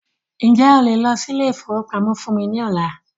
Ǹjẹ́ o lè lọ sí ilé ìfọwọ́pamó fún mí ní ọ̀la?